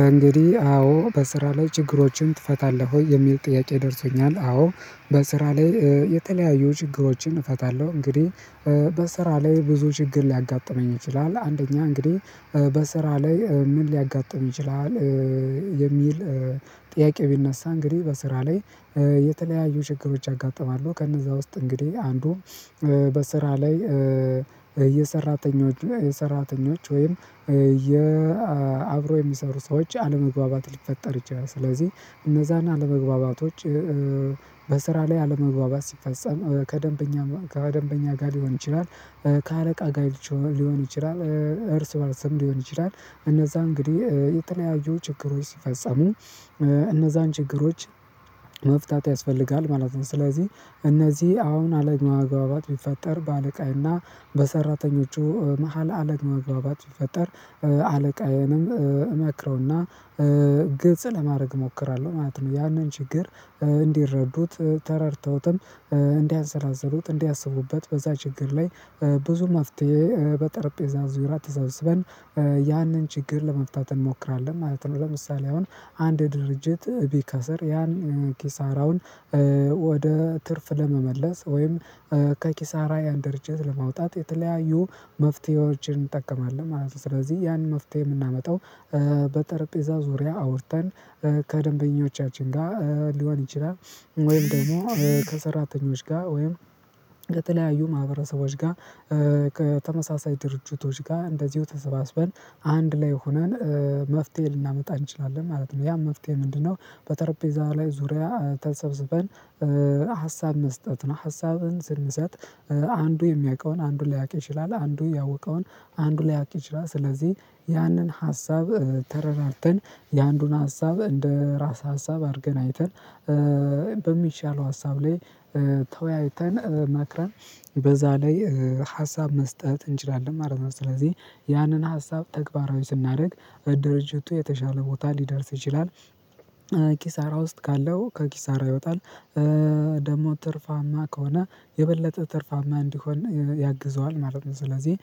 እንግዲህ አዎ በስራ ላይ ችግሮችን ትፈታለህ ወይ የሚል ጥያቄ ደርሶኛል አዎ በስራ ላይ የተለያዩ ችግሮችን እፈታለሁ እንግዲህ በስራ ላይ ብዙ ችግር ሊያጋጥመኝ ይችላል አንደኛ እንግዲህ በስራ ላይ ምን ሊያጋጥም ይችላል የሚል ጥያቄ ቢነሳ እንግዲህ በስራ ላይ የተለያዩ ችግሮች ያጋጥማሉ ከነዛ ውስጥ እንግዲህ አንዱም በስራ ላይ የሰራተኞች የሰራተኞች ወይም የ አብሮ የሚሰሩ ሰዎች አለመግባባት ሊፈጠር ይችላል ስለዚህ እነዛን አለመግባባቶች በስራ ላይ አለመግባባት ሲፈጸም ከደንበኛ ከደንበኛ ጋር ሊሆን ይችላል ከአለቃ ጋር ሊሆን ይችላል እርስ በርስም ሊሆን ይችላል እነዛ እንግዲህ የተለያዩ ችግሮች ሲፈጸሙ እነዛን ችግሮች መፍታት ያስፈልጋል ማለት ነው፣ ስለዚህ እነዚህ አሁን አለማግባባት ቢፈጠር በአለቃዬና በሰራተኞቹ መሃል አለመግባባት ቢፈጠር አለቃዬንም እመክረውና ግልጽ ለማድረግ እሞክራለሁ ማለት ነው። ያንን ችግር እንዲረዱት ተረድተውትም እንዲያንዘራዝሩት እንዲያስቡበት በዛ ችግር ላይ ብዙ ማፍትሄ በጠረጴዛ ዙሪያ ተሰብስበን ያንን ችግር ለመፍታት እንሞክራለን ማለት ነው ለምሳሌ አሁን አንድ ድርጅት ቢከስር ያን ኪሳራውን ወደ ትርፍ ለመመለስ ወይም ከኪሳራ ያን ድርጅት ለማውጣት የተለያዩ መፍትሄዎችን እንጠቀማለን ማለት ነው፣ ስለዚህ ያን መፍትሄ የምናመጣው በጠረጴዛ ዙሪያ አውርተን ከደንበኞቻችን ጋር ሊሆን ይችላል ወይም ደግሞ ከሰራተኞች ጋር ወይም ከተለያዩ ማህበረሰቦች ጋር ከተመሳሳይ ድርጅቶች ጋር እንደዚሁ ተሰባስበን አንድ ላይ ሆነን መፍትሄ ልናመጣ እንችላለን ማለት ነው ያም መፍትሄ ምንድነው በተረጴዛ ላይ ዙሪያ ተሰብስበን ሀሳብ መስጠት ነው ሀሳብን ስንሰጥ አንዱ የሚያውቀውን አንዱ ሊያውቅ ይችላል አንዱ ያወቀውን አንዱ ሊያውቅ ይችላል ስለዚህ ያንን ሀሳብ ተረዳድተን የአንዱን ሀሳብ እንደ ራስ ሀሳብ አድርገን አይተን በሚሻለው ሀሳብ ላይ ተወያይተን ማክረም በዛ ላይ ሀሳብ መስጠት እንችላለን ማለት ነው ስለዚህ ያንን ሀሳብ ተግባራዊ ስናደርግ ድርጅቱ የተሻለ ቦታ ሊደርስ ይችላል ኪሳራ ውስጥ ካለው ከኪሳራ ይወጣል ደግሞ ትርፋማ ከሆነ የበለጠ ትርፋማ እንዲሆን ያግዘዋል ማለት ነው፤ ስለዚህ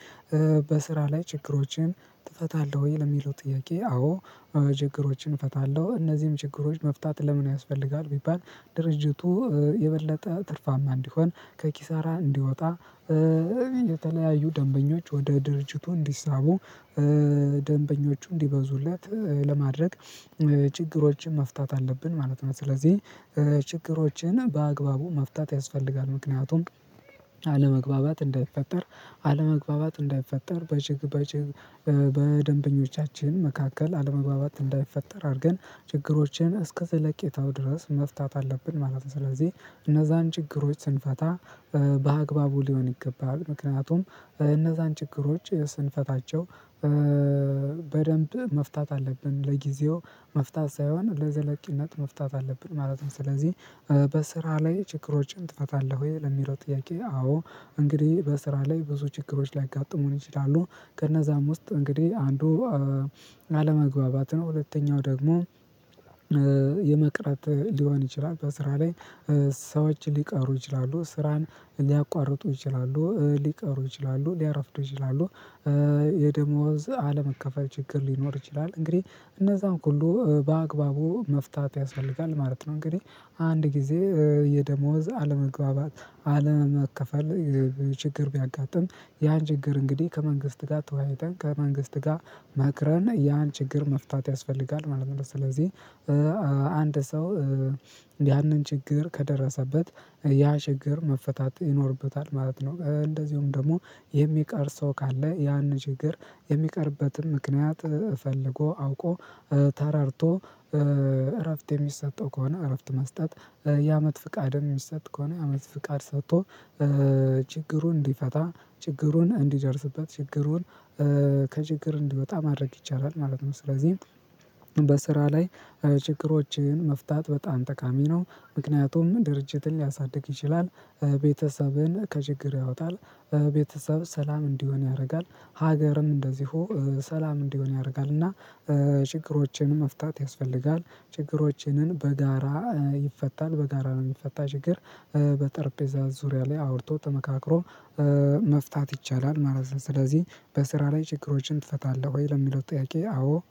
በስራ ላይ ችግሮችን ትፈታለህ ወይ ለሚለው ጥያቄ አዎ ችግሮችን እፈታለሁ እነዚህም ችግሮች መፍታት ለምን ያስፈልጋል ቢባል ድርጅቱ የበለጠ ትርፋማ እንዲሆን፣ ከኪሳራ እንዲወጣ፣ የተለያዩ ደንበኞች ወደ ድርጅቱ እንዲሳቡ፣ ደንበኞቹ እንዲበዙለት፣ ለማድረግ ችግሮችን መፍታት አለብን ማለት ነው ስለዚህ ችግሮችን በአግባቡ መፍታት ያስፈልጋል ምክንያቱም አለመግባባት እንዳይፈጠር፣ አለመግባባት እንዳይፈጠር በደንበኞቻችን መካከል አለመግባባት እንዳይፈጠር አድርገን ችግሮችን እስከ ዘለቄታው ድረስ መፍታት አለብን ማለት ነው ስለዚህ እነዛን ችግሮች ስንፈታ በአግባቡ ሊሆን ይገባል፣ ምክንያቱም እነዛን ችግሮች ስንፈታቸው በደንብ መፍታት አለብን ለጊዜው መፍታት ሳይሆን ለዘለቂነት መፍታት አለብን ማለትም ስለዚህ በስራ ላይ ችግሮችን ትፈታለህ ወይ ለሚለው ጥያቄ አዎ እንግዲህ በስራ ላይ ብዙ ችግሮች ሊያጋጥሙኝ ይችላሉ ከነዛም ውስጥ እንግዲህ አንዱ አለመግባባት ነው፣ ሁለተኛው ደግሞ የመቅረት ሊሆን ይችላል በስራ ላይ ሰዎች ሊቀሩ ይችላሉ፣ ስራን ሊያቋርጡ ይችላሉ፣ ሊቀሩ ይችላሉ፣ ሊያረፍዱ ይችላሉ፣ የደሞዝ አለመከፈል ችግር ሊኖር ይችላል እንግዲህ እነዛን ኩሉ በአግባቡ መፍታት ያስፈልጋል ማለት ነው። እንግዲህ አንድ ጊዜ የደሞዝ አለመግባባት አለመከፈል ችግር ቢያጋጥም ያን ችግር እንግዲህ ከመንግስት ጋር ተወያይተን ከመንግስት ጋር መክረን ያን ችግር መፍታት ያስፈልጋል ማለት ነው ስለዚህ አንድ ሰው ያንን ችግር ከደረሰበት ያ ችግር መፈታት ይኖርበታል ማለት ነው እንደዚሁም ደግሞ የሚቀር ሰው ካለ ያን ችግር የሚቀርበትን ምክንያት ፈልጎ አውቆ ተረድቶ እረፍት የሚሰጠው ከሆነ እረፍት መስጠት የአመት ፍቃድም የሚሰጥ ከሆነ የአመት ፍቃድ ሰጥቶ ችግሩን እንዲፈታ፣ ችግሩን እንዲደርስበት፣ ችግሩን ከችግር እንዲወጣ ማድረግ ይቻላል ማለት ነው። ስለዚህ በስራ ላይ ችግሮችን መፍታት በጣም ጠቃሚ ነው ምክንያቱም ድርጅትን ሊያሳድግ ይችላል ቤተሰብን ከችግር ያወጣል፣ ቤተሰብ ሰላም እንዲሆን ያደርጋል፣ ሀገርም እንደዚሁ ሰላም እንዲሆን ያደርጋል፣ እና ችግሮችን መፍታት ያስፈልጋል። ችግሮችንን በጋራ ይፈታል በጋራ የሚፈታ ችግር በጠርጴዛ ዙሪያ ላይ አውርቶ ተመካክሮ መፍታት ይቻላል ማለት ነው ስለዚህ በስራ ላይ ችግሮችን ትፈታለህ ወይ ለሚለው ጥያቄ አዎ